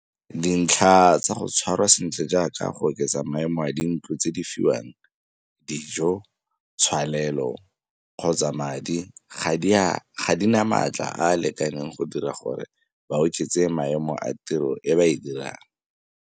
Dintlha tsa go tshwarwa sentle jaaka go oketsa maemo a dintlo tse di fiwang, dijo, thwalelo, kgotsa madi, ga di na maatla a a lekaneng go dira gore ba oketse maemo a tiro e ba e dirang.